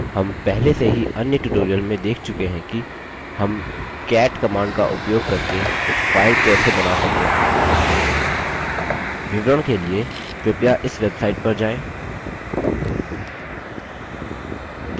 हम पहले से ही अन्य tutorial में देख चुके हैं कि हम cat command का उपयोग करके file कैसे बना सकते हैं विवरण के लिए कृपया इस website पर जाएँ